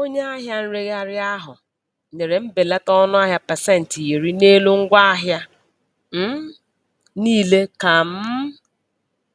Onye ahịa nregharị ahụ nyere mbelata ọnụahịa pasentị iri n'elu ngwaahịa um niile ka um